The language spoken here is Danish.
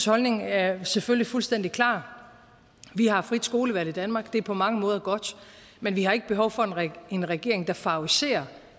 holdning er selvfølgelig fuldstændig klar vi har frit skolevalg i danmark det er på mange måder godt men vi har ikke behov for en regering der favoriserer